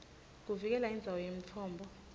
kuvikela indzawo yemtfombo